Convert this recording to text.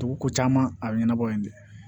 Dugu ko caman a bɛ ɲɛnabɔ yen de